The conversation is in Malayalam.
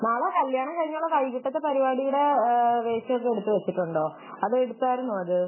നാളെ കല്യാണം കഴിഞ്ഞുള്ള വൈകിട്ടത്തെ പരിപാടിയുടെ വേഷം എടുത്തു വച്ചിട്ടുണ്ടോ അത് എടുത്തായിരുന്നോ അത്